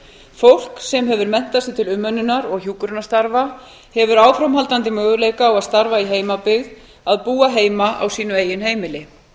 fólk sem hefur menntað sig til umönnunar og hjúkrunarstarfa hefur áframhaldandi möguleika á að starfa í heimabyggð að búa heima á sínu eigin heimili við